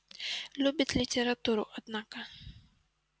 любит литературу однако